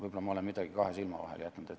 Võib-olla olen ma midagi kahe silma vahele jätnud.